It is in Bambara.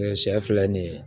sɛ filɛ nin ye